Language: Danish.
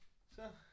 Så